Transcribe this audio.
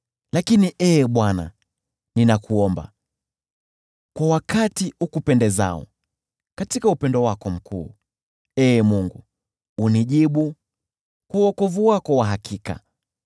Lakini Ee Bwana , ninakuomba, kwa wakati ukupendezao; katika upendo wako mkuu, Ee Mungu, unijibu kwa wokovu wako wa hakika.